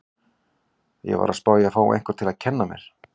Ég var að spá í að fá einhvern til að kenna mér.